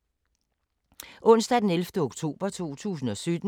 Onsdag d. 11. oktober 2017